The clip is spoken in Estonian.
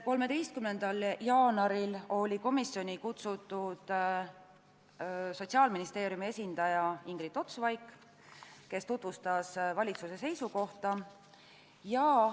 13. jaanuaril oli komisjoni kutsutud Sotsiaalministeeriumi esindaja Ingrid Ots-Vaik, kes tutvustas valitsuse seisukohta.